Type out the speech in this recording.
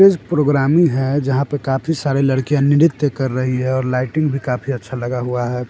Programming है जहाँ पर काफी सारी लडकियां नृत्य कर रही है और लाइटिंग भी काफी अच्छा लगा हुआ है।